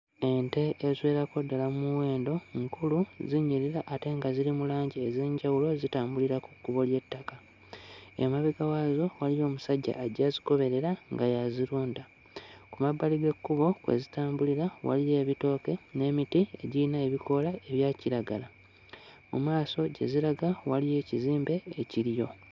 Ente eziwererako ddala mmuwendo nkulu, zinyirira ate nga ziri mu langi ez'enjawulo zitambulira ku kkubo ly'ettaka. Emabega waazo waliyo omusajja ajja azigoberera nga y'azirunda. Ku mabbali g'ekkubo kwe zitambulira waliyo ebitooke n'emiti egiyina ebikoola ebya kiragala. Mu maaso gye ziraga waliyo ekizimbe ekiriyo.